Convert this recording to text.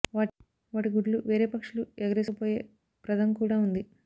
వాటి గుడ్లు వేరే పక్షులు ఎగరేసుకు పోయే ప్రదం కూడా ఉంది